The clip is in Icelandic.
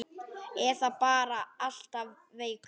Eða bara alltaf veikur.